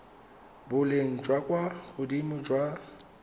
boleng jwa kwa godimo jwa